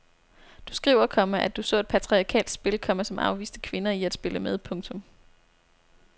Du skriver, komma at du så et patriarkalsk spil, komma som afviste kvinder i at spille med. punktum